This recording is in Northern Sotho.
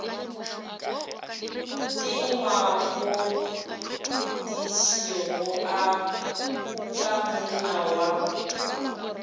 ka ngwakongdisego a kukamonna wa